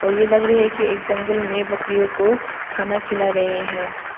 ये लग रही है कि एक जंगल में बकरियों को खाना खिला रहे हैं।